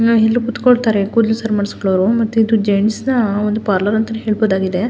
ನಾವ್ ಇಲ್ಲಿ ಕುತ್ಕೊಳ್ ತರೆ ಕೂದಲು ಸರಿ ಮಾಡಿಕೊಳ್ಳೋರು ಮತ್ತೆ ಇದು ಜೆಂಟ್ಸ್ನ ಒಂದು ಪಾರ್ಲರ್ ಅಂತಾನೆ ಹೇಳ್ಬಹುದಾಗಿದೆ.